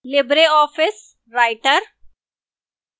libreoffice writer